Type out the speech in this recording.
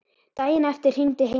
Daginn eftir hringdi Heimir.